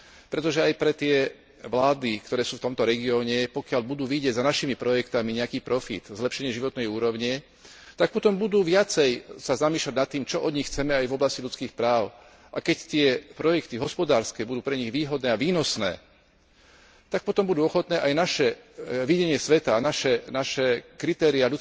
Pretože aj pre tie vlády, ktoré sú v tomto regióne, pokiaľ budú vidieť za našimi projektmi nejaký profit, zlepšenie životnej úrovne, tak potom sa budú viacej zamýšľať nad tým, čo od nich chceme aj v oblasti ľudských práv, a keď tie hospodárske projekty budú pre nich výhodné a výnosné, tak potom budú ochotné aj naše videnie sveta a naše ľudsko právne kritériá